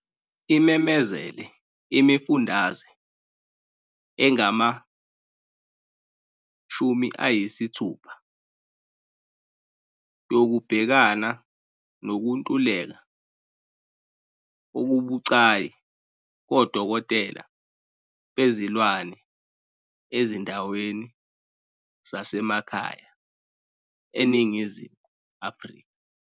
Imemezele imifundaze engama-60 yokubhekana nokuntuleka okubucayi kodokotela bezilwane ezindaweni zasemakhaya eNingizimu Afrika.